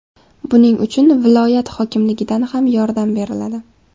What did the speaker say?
Buning uchun viloyat hokimligidan ham yordam beriladi.